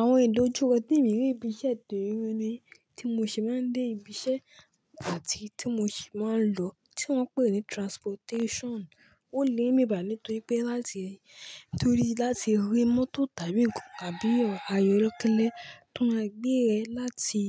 Àwọn ìdájúkọ tè mi ń rí ibi iṣẹ́ tè mi ni tí mo ṣe máa ń dé ibi iṣẹ́ àti tí mo ṣe máa ń lọ, tí wọ́n ń pè ní transportation. Ó le bì báyi nítorí pé láti, nítorí láti rí mọ́tò tàbí òkò, àbí ayọ̀rókẹ́lẹ́ tó máa gbé ẹ láti